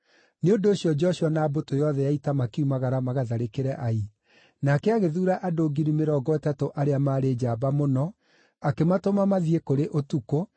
Nĩ ũndũ ũcio Joshua na mbũtũ yothe ya ita makiumagara magatharĩkĩre Ai. Nake agĩthuura andũ 30,000 arĩa maarĩ njamba mũno akĩmatũma mathiĩ kũrĩ ũtukũ,